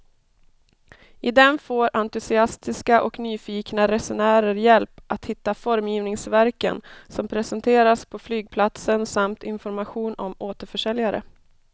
I den får entusiastiska och nyfikna resenärer hjälp att hitta formgivningsverken som presenteras på flygplatsen samt information om återförsäljare.